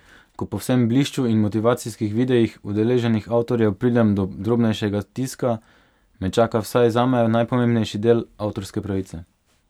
Ko po vsem blišču in motivacijskih videih udeleženih avtorjev pridem do drobnejšega tiska, me čaka, vsaj zame, najpomembnejši del, avtorske pravice.